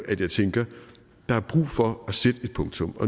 at jeg tænker at der er brug for at sætte et punktum